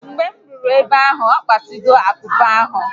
Mgbe m ruru ebe ahu, okpasigo akupe ahụ